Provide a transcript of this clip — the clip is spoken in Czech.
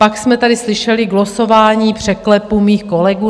Pak jsme tady slyšeli glosování překlepu mých kolegů...